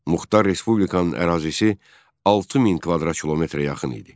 Muxtar Respublikanın ərazisi 6000 kvadrat kilometrə yaxın idi.